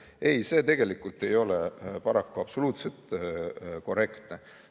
Ei, see paraku ei ole absoluutselt korrektne.